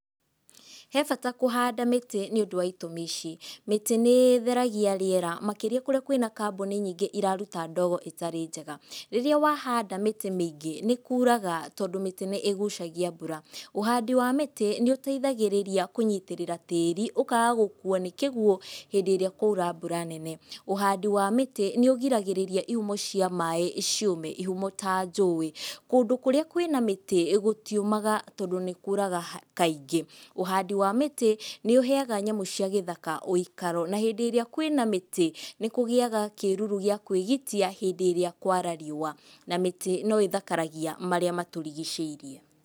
He bata kũhanda mĩtĩ nĩũndũ wa itũmi ici. Mĩtĩ nĩ ĩtheragia rĩera makĩria kũrĩa kwĩna kambuni nyingĩ iraruta ndogo ĩtarĩ njega. Rĩrĩa wahanda mĩtĩ mĩingĩ nĩ kuuraga tondũ mĩtĩ nĩ ĩgucagia mbura. Ũhandi wa mĩtĩ nĩ ũteithagĩrĩria kũnyitĩrĩra tĩĩri ũkaaga gũkuo nĩ kĩguũ hĩndĩ ĩrĩa kwaura mbura nene. Ũhandi wa mĩtĩ nĩ ũgiragĩrĩria ihumo cia maaĩ ciũme, ihumo ta njũĩ. Kũndũ kũrĩa kwĩna mĩtĩ gũtiũmaga tondũ nĩ kuuraga kaingĩ. Ũhandi wa mĩtĩ nĩ ũheaga nyamũ cia gĩthaka ũikaro, na hĩndĩ ĩrĩa kwĩna mĩtĩ nĩkũgĩaga kĩruru gĩa kwĩgitia hĩndĩ ĩrĩa kwara riũwa. Na mĩtĩ no ĩthakaragia marĩa matũrigicĩirie.